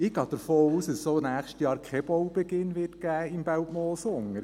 Ich gehe davon aus, dass es auch im nächsten Jahr im Belpmoos keinen Baubeginn geben wird.